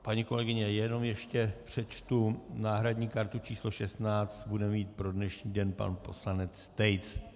Paní kolegyně, ještě jenom přečtu - náhradní kartu číslo 16 bude mít pro dnešní den pan poslanec Tejc.